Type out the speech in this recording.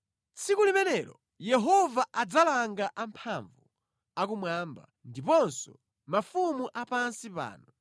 Tsiku limenelo Yehova adzalanga amphamvu a kumwamba ndiponso mafumu apansi pano.